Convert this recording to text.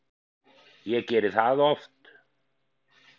Ég geri það oft